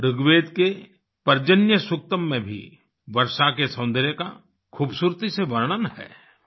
ऋग्वेद के पर्जन्य सुक्तम में भी वर्षा के सौन्दर्य का खूबसूरती से वर्णन है